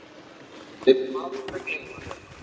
Við munum aldrei gleyma þér.